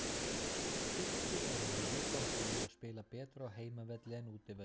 Tyrkir eru með mjög gott lið og spila betur á heimavelli en útivöllum.